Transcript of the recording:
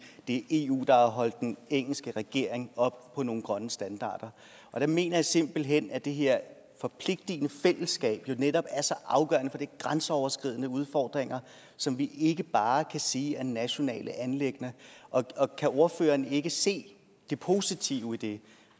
det er eu der har holdt den engelske regering op på nogle grønne standarder jeg mener simpelt hen at det her forpligtigende fællesskab netop er så afgørende om grænseoverskridende udfordringer som vi ikke bare kan sige er nationale anliggender og kan ordføreren ikke se det positive i det